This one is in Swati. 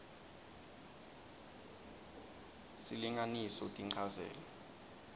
s silinganiso tinchazelo